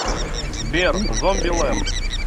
сбер зомби ленд